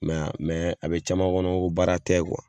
Mɛ mɛ a be caman kɔnɔ ko baara tɛ kuwa